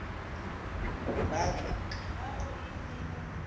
banka